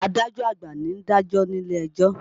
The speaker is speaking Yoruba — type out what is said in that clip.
Adájọ́ àgbà ni ń dàjọ́ nílé ẹjọ́